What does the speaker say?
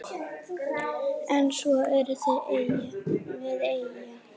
En svo erum við eyja.